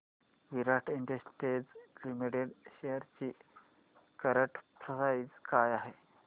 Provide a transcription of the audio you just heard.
विराट industries limited shares ची current price काय आहे